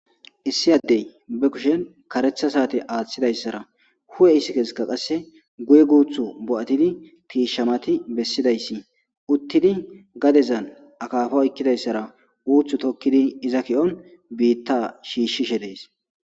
Issi addee ba kushen kareththa saathe aaththizayssaara hu7eessikka qassi guye guuththo bo7athidi tiishshanathi bessizayssi uththidi gadeza akaafa oykkida isaara puutho thokidi iza kiyon biiththaa shiishshishe de7ees.